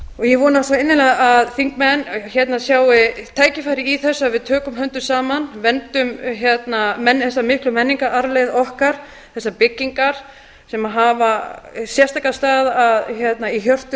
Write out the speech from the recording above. ég vona svo innilega að þingmenn sjái tækifæri í þessu að við tökum höndum saman verndum þessa miklu menningararfleifð okkar þessar byggingar sem hafa sérstakan stað í hjörtum